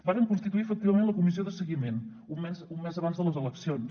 varen constituir efectivament la comissió de seguiment un mes abans de les eleccions